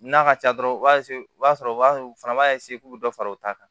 N'a ka ca dɔrɔn u b'a u b'a sɔrɔ u b'a fana b'a k'u dɔ fara u ta kan